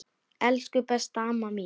Elsku, besta amma mín.